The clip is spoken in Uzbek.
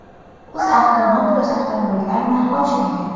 UzAvto Motors avtomobillari narxi oshmagan.